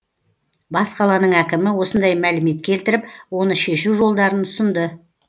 бас қаланың әкімі осындай мәлімет келтіріп оны шешу жолдарын ұсынды